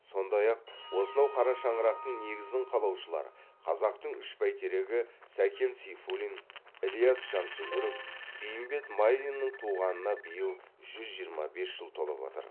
сондай ақ осынау қара шаңырақтың негізін қалаушылар қазақтың үш бәйтерегі сәкен сейфуллин ілияс жансүгіров бейімбет майлиннің туғанына биыл жүз жиырма бес жыл толып отыр